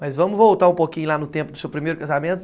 Mas vamos voltar um pouquinho lá no tempo do seu primeiro casamento.